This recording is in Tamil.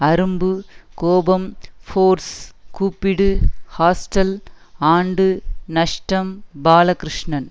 அரும்பு கோபம் ஃபோர்ஸ் கூப்பிடு ஹாஸ்டல் ஆண்டு நஷ்டம் பாலகிருஷ்ணன்